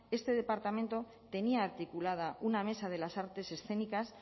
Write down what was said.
este departamento tenía articulada una mesa de las artes escénicas